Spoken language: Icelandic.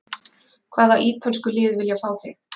Hvaða ítölsku lið vilja fá þig?